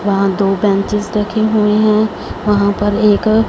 वहां दो बेंचेस रखे हुए हैं वहाँ पर एक--